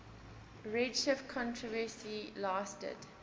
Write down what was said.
redshift controversy lasted